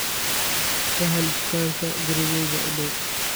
ka hel dukaan gurigayga u dhow